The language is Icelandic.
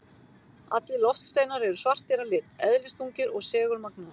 Allir loftsteinar eru svartir að lit, eðlisþungir og segulmagnaðir.